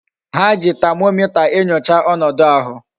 Ha ji tamomita enyocha onodu ahu.